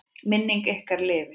Minning ykkar lifir.